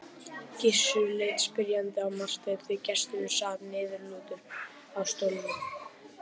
Gizur leit spyrjandi á Martein því gesturinn sat niðurlútur á stólnum.